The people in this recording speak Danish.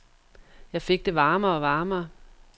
Jeg fik det varmere og varmere.